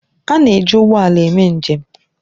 A na-eji ụgbọ ala eme njem.